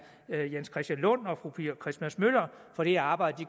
jens christian lund og fru pia christmas møller for det arbejde de